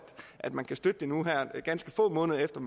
at man kan støtte det nu her ganske få måneder efter